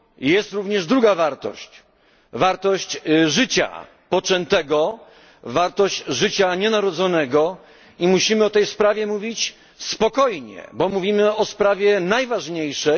Jest również druga wartość, wartość życia poczętego, wartość życia nienarodzonego i musimy o tej sprawie mówić spokojnie, bo mówimy o sprawie najważniejszej.